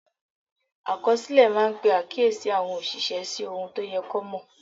Àkọsílẹ̀ máa ń pe àkíyèsí àwọn òṣìṣẹ́ sí ohun tó yẹ kó mọ̀.